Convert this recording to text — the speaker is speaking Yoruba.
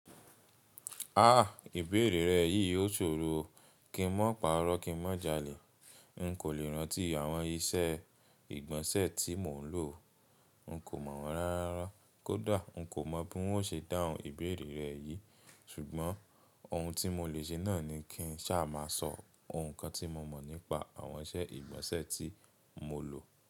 Ìbéèrè rẹ yìí ó ṣòro o. Kí n má parọ́ kí n má jalè. N kò lè rántí àwọn iṣẹ́ ìgbọ̀nsẹ̀ tí mò ń lò. N kò mọ̀ wọ́n rárárara. Kódà n kò mọ bí n o ṣe dáhùn ìbéèrè rẹ yìí. Ṣùgbọ́n ohun tí mo lè ṣe náà ni kí n sá má sọ ohun kan tí mo mọ̀ nípa àwọn iṣẹ́ ìgbọ̀nsẹ̀ tí mo lò.